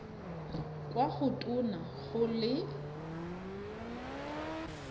kwa go tona go le